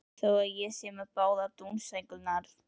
Þótt ég sé með báðar dúnsængurnar.